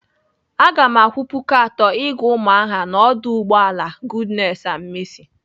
Aga m akwụ puku atọ ịga Umuahia n'ọdụ ụgbọala goodness and mercy.